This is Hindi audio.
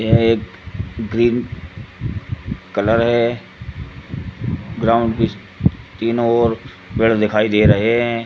यह एक ग्रीन कलर है। ब्राउन बृक्ष तीनो ओर पेड़ दिखाई दे रहे हैं।